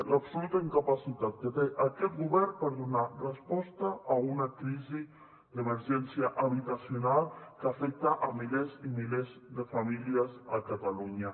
l’absoluta incapacitat que té aquest govern per donar resposta a una crisi d’emergència habitacional que afecta milers i milers de famílies a catalunya